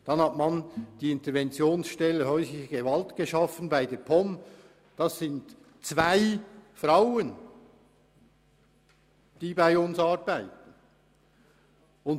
Dann hat man die Interventionsstelle Häusliche Gewalt bei der POM geschaffen und zwei Frauen angestellt.